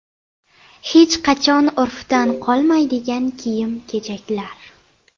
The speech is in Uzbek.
Hech qachon urfdan qolmaydigan kiyim-kechaklar.